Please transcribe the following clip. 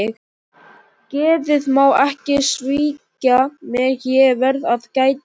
Geðið má ekki svíkja mig, ég verð að gæta mín.